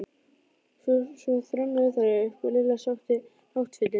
Svo þrömmuðu þær upp og Lilla sótti náttfötin.